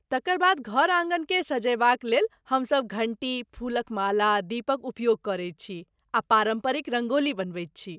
तकर बाद घर आँगनकेँ सजयबाक लेल हम सब घण्टी, फूलक माला, दीपक उपयोग करैत छी आ पारम्परिक रंगोली बनबैत छी।